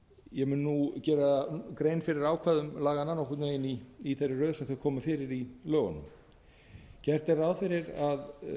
ég mun nú gera grein fyrir ákvæðum laganna nokkurn veginn í þeirri röð sem þau koma fyrir í lögunum gert er ráð fyrir því að